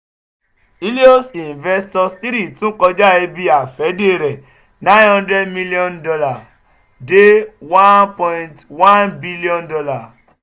helios investors three tun kọja ibi-afẹde rẹ nine hundred million dollar de one point one bilion dollar